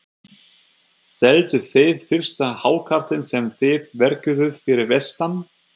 Selduð þið fyrsta hákarlinn sem þið verkuðuð fyrir vestan?